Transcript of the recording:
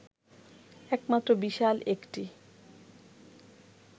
একমাত্র বিশাল একটি